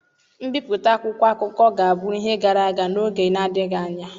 Mbipụta akwụkwọ akụkọ ga-abụ ihe gara aga n'oge na-adịghị anya.